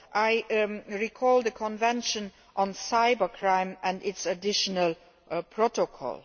I would recall the Convention on Cybercrime and its additional protocol.